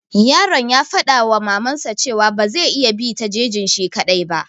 Yaron ya faɗa wa maman sa cewa ba zai iya bi ta jejin shi kaɗai ba.